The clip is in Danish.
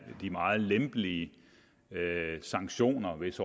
de meget lempelige sanktioner hvis